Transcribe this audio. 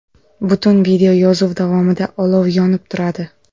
Butun videoyozuv davomida olov yonib turadi.